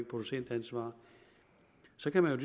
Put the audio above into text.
producentansvar så kan man